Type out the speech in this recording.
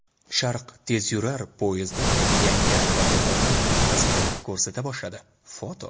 "Sharq" tezyurar poyezdi yangi vagonlar bilan xizmat ko‘rsata boshladi (foto).